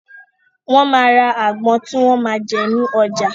Wón máa ra àgbon tí wọn máa jẹ ní ọjà.